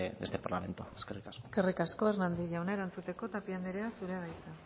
de este parlamento eskerrik asko eskerrik asko hernández jauna erantzuteko tapia andrea zurea da hitza